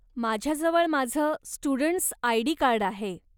माझ्याजवळ माझं students ID card आहे.